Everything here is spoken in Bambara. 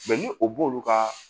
ni o b'olu ka